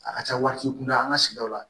A ka ca warici kun da an ka sigidaw la